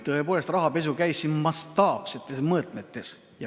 Tõepoolest, rahapesu käis siin mastaapsetes mõõtmetes.